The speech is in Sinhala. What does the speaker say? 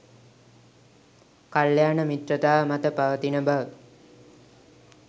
කල්‍යාණ මිත්‍රතාව මත පවතින බව